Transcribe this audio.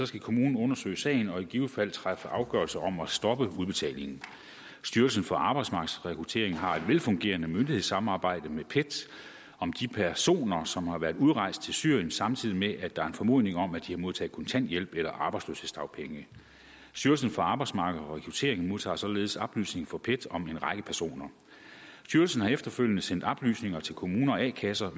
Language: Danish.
skal kommunen undersøge sagen og i givet fald træffe afgørelse om at stoppe udbetalingen styrelsen for arbejdsmarked og rekruttering har et velfungerende myndighedssamarbejde med pet om de personer som har været udrejst til syrien samtidig med at der er en formodning om at de har modtaget kontanthjælp eller arbejdsløshedsdagpenge styrelsen for arbejdsmarked og rekruttering modtager således oplysninger fra pet om en række personer styrelsen har efterfølgende sendt oplysninger til kommuner og a kasser